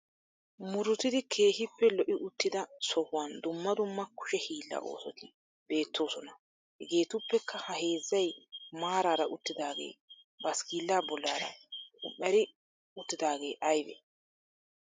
Muruttidi keehippe lo"i uttida sohuwan dumma dumma kushe hiila oosoti beettoosoma Hegetuppekka ha heezzay maarara uttidaage bassikla bollaara qum"erri uttidaage aybbe?